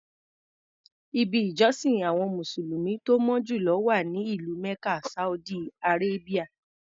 Ibi ìjọsìn àwọn mùsùlùmí tó mọ́ jù lọ wà ní ìlú Mecca Saudi Arabia.